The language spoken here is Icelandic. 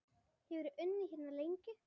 Hefurðu unnið hérna lengi?